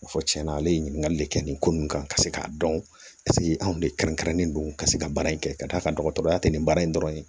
Fɔ tiɲɛna ale ye ɲininkali de kɛ nin ko nunnu kan ka se k'a dɔn anw de kɛrɛnkɛrɛnnen don ka se ka baara in kɛ ka d'a kan dɔgɔtɔrɔya tɛ nin baara in dɔrɔn ye